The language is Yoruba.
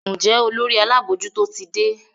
Njé Olórí abojuto tí dé?